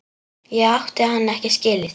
Ég átti hann ekki skilið.